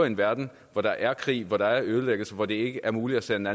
en verden hvor der er krig og hvor der er ødelæggelse og hvor det ikke er muligt at sende